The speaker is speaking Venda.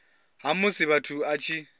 ha musi muthu a tshi